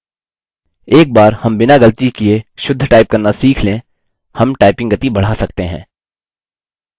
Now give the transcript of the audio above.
एक बार हम बिना गलती किए शुद्ध टाइप करना सीख लें हम टाइपिंग गति बढा सकते हैं